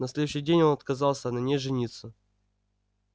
на следующий день он отказался на ней жениться